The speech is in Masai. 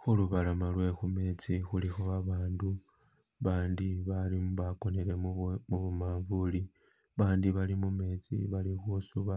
Khulubalama lwe khumetsi khulikho abandu abandi balimo bakonele mubu mubumanvuli abandi bali mumetsi bali khusuba,